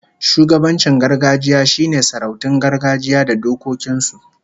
Shugabancin gargajiya shine sarautun gargajiya da dokokin su